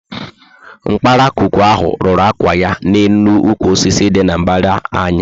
Nkparakwukwu ahụ rúrú ákwà ya na élú ukwu osisi dị na mbara anyị